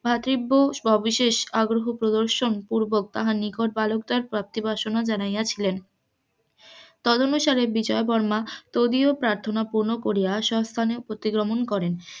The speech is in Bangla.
ভাতৃব্য সবিশেষ আগ্রহ প্রদর্শন পুর্বক তাহার নিকত বালকদের প্রাপ্তি বাসনা জানাইয়াছিলেন তদনেশনে বিজয়বর্মা তবিয়ৎ প্রার্থনা পুর্ণ করিয়া সস্থানে প্রতিগমন করেন,